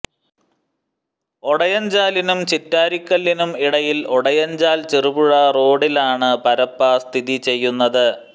ഒടയഞ്ചാലിനും ചിറ്റാരിക്കലിനും ഇടയിൽ ഒടയഞ്ചാൽ ചെറുപുഴ റോഡിലാണ് പരപ്പ സ്ഥിതിചെയ്യുന്നത്